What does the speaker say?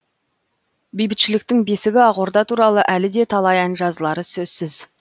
бейбітшіліктің бесігі ақорда туралы әлі де талай ән жазылары сөзсіз